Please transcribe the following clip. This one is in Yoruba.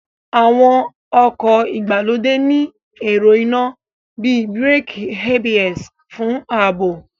Àwọn ọkọ̀ ìgbàlódé ní ẹ̀rọ iná bíi Bíràkì ABS fún ààbò